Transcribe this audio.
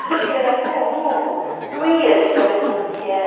Tudo aquilo era tão lindo, doía de tão lindo que era.